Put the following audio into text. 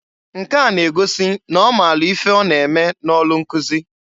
Nke a n'egosi n'ọ maalụ ife ọ na-eme n'ọlụ nkụzị.